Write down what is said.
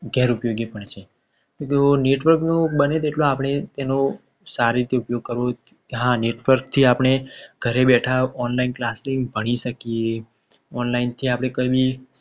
ગેર ઉપયોગી પણ છે. તો network તો બને તેટલો આપણે એનો સારી રીતે ઉપયોગ કરવો જોઈએ. હા network જે આપણે ઘરે બેઠા online class થી ભણી શકીએ. online જે આપણે કંઈ બી